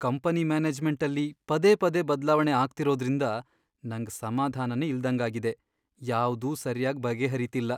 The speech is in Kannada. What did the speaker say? ಕಂಪನಿ ಮ್ಯಾನೇಜ್ಮೆಂಟಲ್ಲಿ ಪದೇ ಪದೇ ಬದ್ಲಾವಣೆ ಆಗ್ತಿರೋದ್ರಿಂದ ನಂಗ್ ಸಮಾಧಾನನೇ ಇಲ್ದಂಗಾಗಿದೆ, ಯಾವ್ದೂ ಸರ್ಯಾಗ್ ಬಗೆಹರೀತಿಲ್ಲ.